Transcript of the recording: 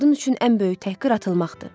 Qadın üçün ən böyük təhqir atılmaqdır.